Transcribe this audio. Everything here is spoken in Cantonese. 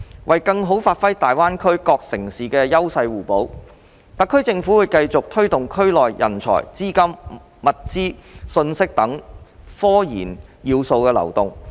為更好發揮大灣區各城市的優勢互補，特區政府會繼續推動區內人才、資金、物資、信息等科研要素流動。